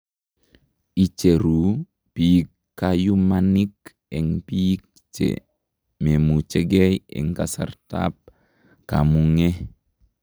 Icheruu biik kayumanik eng biik che memuchegei eng kasarta ab kamung'e.